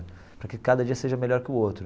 Para que cada dia seja melhor que o outro.